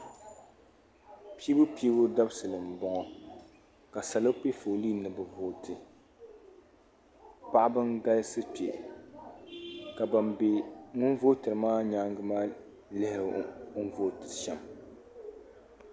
Piibu piibu dabsili mboŋɔ ka salo piɛ foolii ni bɛ vooti paɣabn galisi kpe ka ban be ŋun vootiri maa nyaanga maa lihiri o ni vootiri shem.